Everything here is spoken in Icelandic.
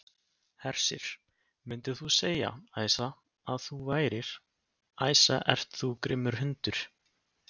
Hersir: Myndir þú segja, Æsa, að þú værir, Æsa ert þú grimmur hundur?